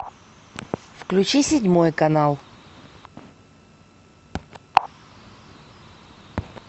включи седьмой канал